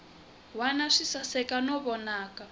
wana swi saseka no vonaka